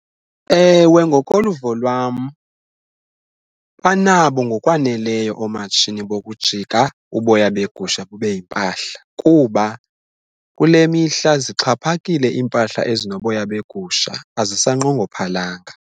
Ewe, ngokoluvo lwam banabo ngokwaneleyo oomatshini bokujika uboya beegusha bube yimpahla kuba kule mihla zixhaphakile iimpahla ezinoboya beegusha azisanqongophalanga.